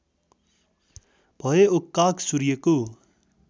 भए ओक्काक सूर्यको